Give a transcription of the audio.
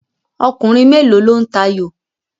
Ọkùnrin mélòó lo ń tayò?